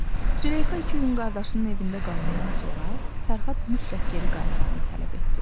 Züleyxa iki yün qardaşının evində qalannan sonra, Fərhad mütləq geri qayıtmağını tələb etdi.